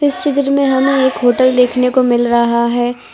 इस चित्र में हमें एक होटल देखने को मिल रहा है।